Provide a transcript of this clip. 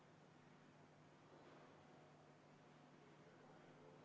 Palun võtke seisukoht ja hääletage!